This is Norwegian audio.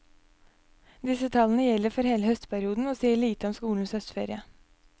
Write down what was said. Disse tallene gjelder for hele høstperioden og sier lite om skolens høstferie.